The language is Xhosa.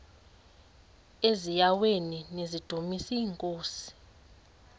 eziaweni nizidumis iinkosi